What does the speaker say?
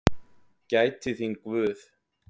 Gæti þín Guð.